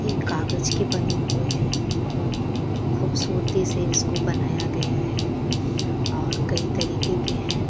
ये कागज के बने हुए है बहोत खुबसूरती से इसको बनाया गया है और कई तरीके के है।